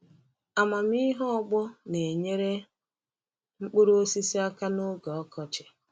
Amamihe ọgbọ na-enyere mkpuru osisi aka n’oge ọkọchị.